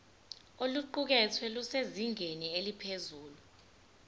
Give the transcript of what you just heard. oluqukethwe lusezingeni eliphezulu